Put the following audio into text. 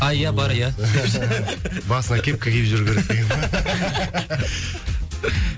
а иә бар иә басына кепка киіп жүру керек деген ба